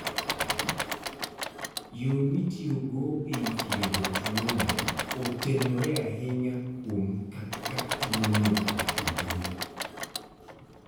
Yo mitiyogo e thiedho tuwono otenore ahinya kuom kaka tuwono otudore.